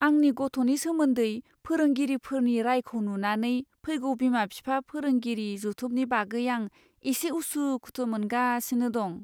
आंनि गथ'नि सोमोन्दै फोरोंगिरिफोरनि रायखौ नुनानै फैगौ बिमा बिफा फोरोंगिरि जथुमनि बागै आं एसे उसुखुथु मोनगासिनो दं।